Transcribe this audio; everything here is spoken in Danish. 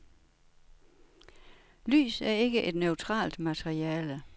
Lys er ikke et neutralt materiale.